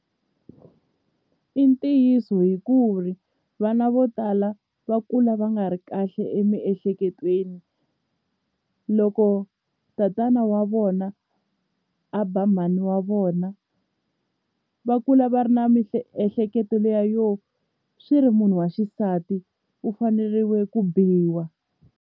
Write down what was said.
I ntiyiso hi ku ri vana vo tala va kula va nga ri kahle emiehleketweni loko tatana wa vona a ba mhani wa vona va kula va ri na miehleketoliya yo swi ri munhu wa xisati u faneriwe ku biwa.